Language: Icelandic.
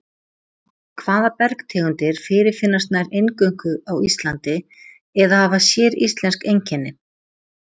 Hvaða bergtegundir fyrirfinnast nær eingöngu á Íslandi eða hafa séríslensk einkenni?